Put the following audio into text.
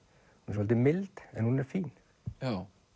svolítið mild en hún er fín já